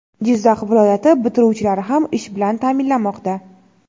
Jizzax viloyati bitiruvchilari ham ish bilan ta’minlanmoqda.